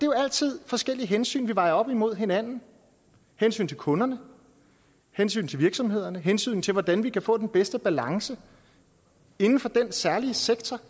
jo altid forskellige hensyn vi vejer op imod hinanden hensyn til kunderne hensyn til virksomhederne hensyn til hvordan vi kan få den bedste balance inden for den særlige sektor